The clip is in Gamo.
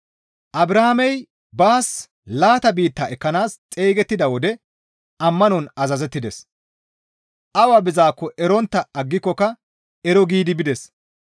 Abrahaamey baas laata biitta ekkanaas xeygettida wode ammanon azazettides; awa bizaakko erontta aggikokka ero giidi bides.